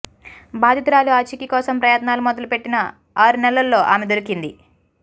బాధితురాలి ఆచూకీ కోసం ప్రయత్నాలు మొదలుపెట్టిన ఆరు నెలల్లో ఆమె దొరికింది